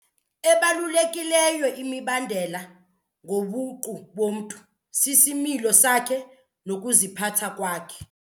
Ebalulekileyo imibandela ngobuqu bomntu sisimilo sakhe nokuziphatha kwakhe.